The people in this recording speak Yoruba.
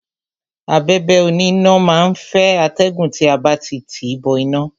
Abẹ̀bẹ̀ oníná má á ń fẹ́ atẹ́gùn tí a bá ti tìí bọ iná.